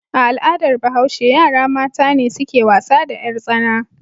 A al'adar Bahashe, yara mata ne suke wasa da 'yartsana.